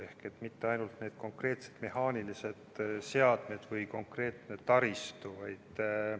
Ei ole mitte ainult need konkreetsed mehaanilised seadmed või konkreetne taristu.